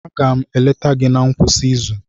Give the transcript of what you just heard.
Aga m eleta gị na ngwụsị izu.